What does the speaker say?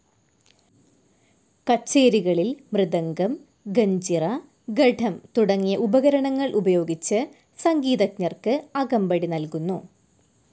കച്ചേരികളിൽ മൃദംഗം, ഗഞ്ചിറ, ഘടം തുടങ്ങിയ ഉപകരണങ്ങൾ ഉപയോഗിച്ച് സംഗീതജ്ഞർക്ക് അകമ്പടി നൽകുന്നു.